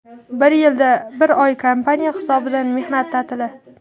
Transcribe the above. Bir yilda bir oy kompaniya hisobidan mehnat ta’tili.